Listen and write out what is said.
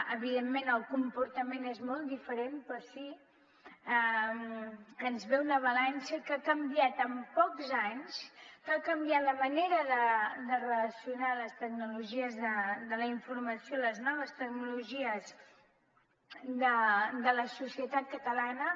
evidentment el comportament és molt diferent però sí que ens ve una allau que ha canviat en pocs anys que ha canviat la manera de relacionar les tecnologies de la informació les noves tecnologies de la societat catalana